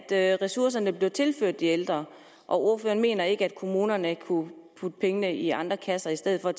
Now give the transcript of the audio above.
det at ressourcerne bliver tilført de ældre og ordføreren mener ikke at kommunerne kunne putte pengene i andre kasser i stedet for at